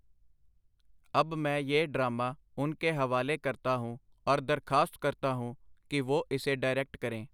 ਅਬ ਮੈਂ ਯਿਹ ਡਰਾਮਾ ਉਨ ਕੇ ਹਵਾਲੇ ਕਰਤਾ ਹੂੰ, ਔਰ ਦਰਖਾਸਤ ਕਰਤਾ ਹੂੰ ਕਿ ਵੋਹ ਇਸੇ ਡਾਇਰੈਕਟ ਕਰੇਂ.